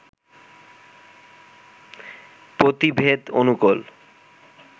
পতিভেদ অনুকূল